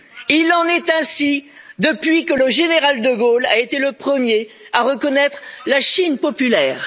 Il en est ainsi depuis que le général de Gaulle a été le premier à reconnaître la Chine populaire.